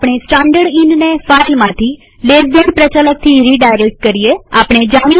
આપણે સ્ટાનડર્ડ ઈનને ફાઈલમાંથી ltડાબી તરફના ખૂણાવાળા કૌંસ પ્રચાલકથી રીડાયરેક્ટ કરીએજોઈએ કેવી રીતે થાય છે